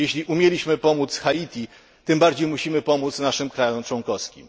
Jeśli umieliśmy pomóc Haiti, tym bardziej musimy pomóc naszym krajom członkowskim.